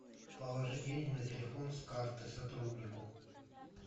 положи деньги на телефон с карты сотруднику